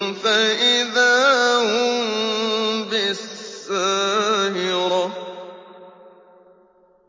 فَإِذَا هُم بِالسَّاهِرَةِ